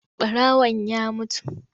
Ɓarawan ya mutu.